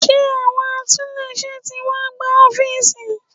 Ṣé àwọn atúnléṣe tí wá gbá ọ́fíísì?